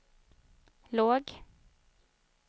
låg